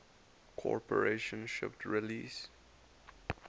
corporation shipped release